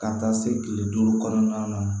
Ka taa se kile duuru kɔnɔna na